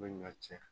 U bɛ ɲɔ tiɲɛ